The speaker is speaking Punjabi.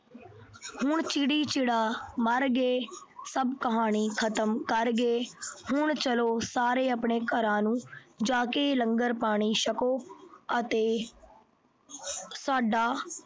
ਹੁਣ ਚਿੜੀ ਚਿੜਾ ਮਰ ਗਏ, ਸਭ ਕਹਾਣੀ ਖਤਮ ਕਰ ਗਏ। ਹੁਣ ਸਾਰੇ ਆਪਣੇ ਘਰਾਂ ਨੂੰ ਜਾ ਕੇ ਲੰਗਰ ਪਾਣੀ ਛੱਕੋ ਅਤੇ ਸਾਡਾ